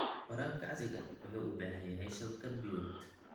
Waraabka casriga ahi wuxuu u baahan yahay shabakad biyood.